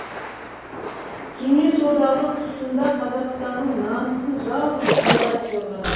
кеңес одағы тұсында қазақстанның намысын жалғыз қайрат қорғады